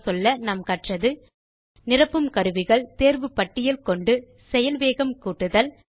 சுருங்கச்சொல்ல நாம் கற்றது நிரப்பும் கருவிகள் தேர்வு பட்டியல் கொண்டு செயல் வேகம் கூட்டுதல்